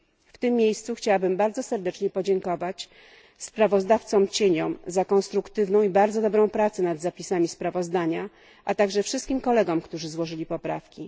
W tym miejscu chciałabym bardzo serdecznie podziękować sprawozdawcom cieniom za konstruktywną i bardzo dobrą pracę nad zapisami sprawozdania, a także wszystkim kolegom, którzy złożyli poprawki.